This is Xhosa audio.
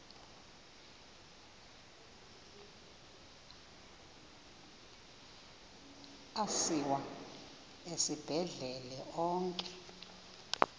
asiwa esibhedlele onke